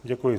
Děkuji.